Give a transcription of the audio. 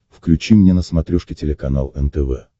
включи мне на смотрешке телеканал нтв